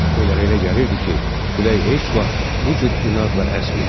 Onlara elə gəlirdi ki, külək heç vaxt bu cür inadla əsməyib.